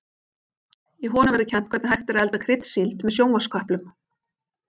Í honum verður kennt hvernig hægt er að elda kryddsíld með sjónvarpsköplum.